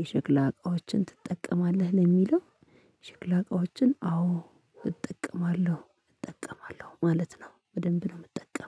የሽክላ እቃዎችን ትጠቀማለህ? ለሚለው ሽክላ እቃዎችን አዎ እጠቀማለሁ እጠቀማለሁ ማለት ነው በደንብ ነው የምጠቀመው